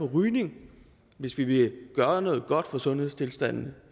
rygning hvis vi vil gøre noget godt for sundhedstilstanden